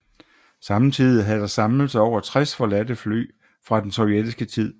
Samtidig havde der samlet sig over 60 forladte fly fra den sovjetiske tid